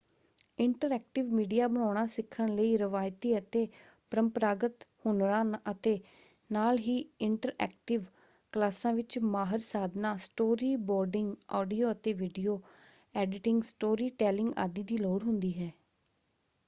Interactive media ਬਣਾਉਣਾ ਸਿੱਖਣ ਲਈ ਰਵਾਇਤੀ ਅਤੇ ਪਰੰਪਰਾਗਤ ਹੁਨਰਾਂ ਅਤੇ ਨਾਲ ਹੀ ਇੰਟਰਐਕਟਿਵ ਕਲਾਸਾਂ ਵਿੱਚ ਮਾਹਰ ਸਾਧਨਾਂ ਸਟੋਰੀ ਬੋਰਡਿੰਗ ਆਡੀਓ ਅਤੇ ਵੀਡੀਓ ਐਡੀਟਿੰਗ ਸਟੋਰੀ ਟੈਲਿੰਗ ਆਦਿ ਦੀ ਲੋੜ ਹੁੰਦੀ ਹੈ।